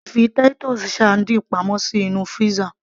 a lè fi Titus sardines pamọ́ sí inú freezer